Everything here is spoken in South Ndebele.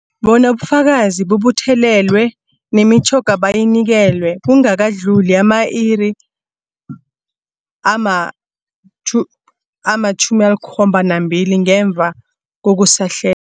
Bona ubufakazi bubuthelelwe, nemitjhoga bayinikelwe kungakadluli ama-iri ama-2 ama-72 ngemuva kokusahle